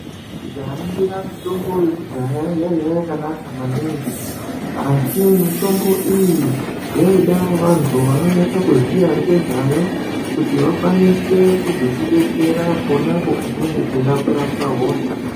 Tikaringira mitombo yekudaya yaiya yakanaka maningi Asi mitombo iyi yaida vantu vanonyade kuziya ngezvayo kuti vakwanise kuzotidetsera ponapo patinenge teida kurapwe hosha.